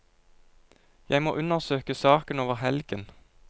Jeg må undersøke saken over helgen.